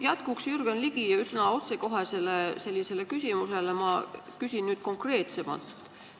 Jätkuks Jürgen Ligi üsna otsekohesele küsimusele küsin ma nüüd konkreetsemalt.